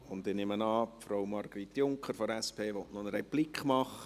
Ich nehme an, Frau Margrit Junker von der SP wolle eine Replik geben.